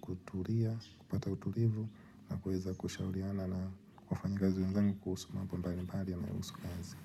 kutulia, kupata utulivu na kwa weza kushauliana na wafanyi kazi wenzangu kuhusu mambo mbali mbali yayohusu kazi.